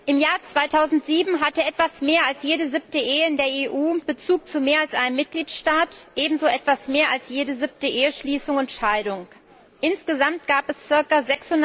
Im Jahr 2007 hatte etwas mehr als jede siebte Ehe in der EU Bezug zu mehr als einem Mitgliedstaat, ebenso etwas mehr als jede siebte Eheschließung und Scheidung. Insgesamt gab es ca.